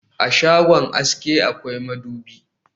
A shagon aske akwai madubi